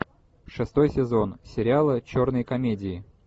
шестой сезон сериала черные комедии